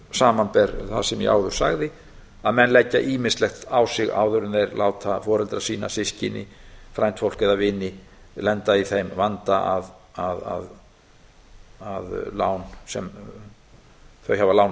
samanber það sem ég áður segði að menn leggja ýmislegt áður en þeir láta foreldra sína systkini frændfólk á vini lenda í þeim vanda að lán sem þau aðra lánað